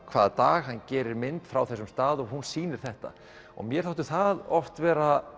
hvaða dag hann gerir mynd frá þessum stað og hún sýnir þetta og mér þótti það oft vera